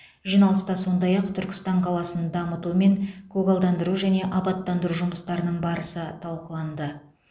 жиналыста сондай ақ түркістан қаласын дамыту мен көгалдандыру және абаттандыру жұмыстарының барысы талқыланды